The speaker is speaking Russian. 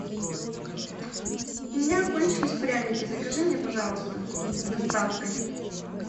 у меня кончились пряники закажи мне пожалуйста с доставкой